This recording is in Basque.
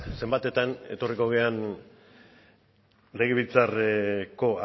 zenbatetan etorriko garen legebiltzarreko